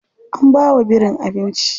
An bawa birin abinci.